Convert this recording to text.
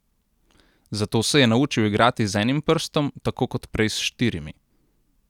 Zato se je naučil igrati z enim prstom tako kot prej s štirimi.